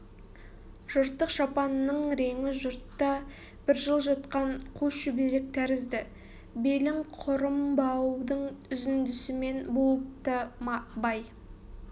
жыртық шапанының реңі жұртта бір жыл жатқан қу шүберек тәрізді белің құрым баудың үзіндісімен буыпты бай